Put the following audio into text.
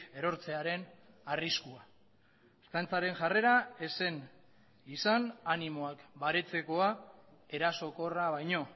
erortzearen arriskua ertzaintzaren jarrera ez zen izan animoak baretzekoa erasokorra baino